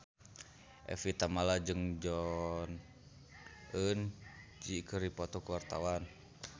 Evie Tamala jeung Jong Eun Ji keur dipoto ku wartawan